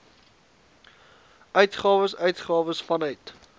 uitgawes uitgawes vanuit